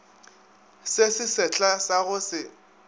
se sesehla sa go se